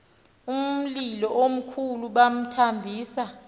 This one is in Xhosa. umlilo omkhulu bamthambisa